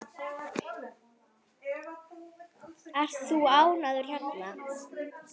Ert þú ánægður hérna?